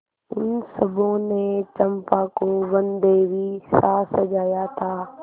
उन सबों ने चंपा को वनदेवीसा सजाया था